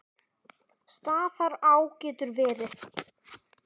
Staðará getur verið